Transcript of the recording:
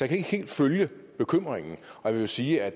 kan ikke helt følge bekymringen jeg vil sige at